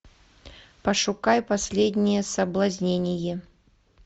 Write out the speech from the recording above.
пошукай последнее соблазнение